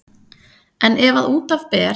En ef að út af ber